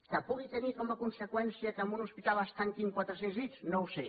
que pugui tenir com a conseqüència que en un hospital es tanquin quatre cents llits no ho sé